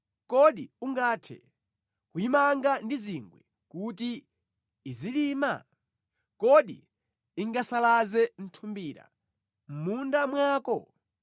Kodi ungathe kuyimanga ndi zingwe kuti izilima? Kodi ingasalaze nthumbira mʼmunda mwako?